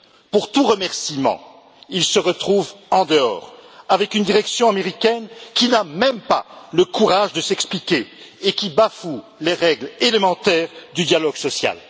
Pour tout remerciement, ils se retrouvent en dehors, tandis que la direction américaine n'a même pas le courage de s'expliquer et bafoue les règles élémentaires du dialogue social.